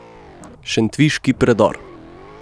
Šentviški predor.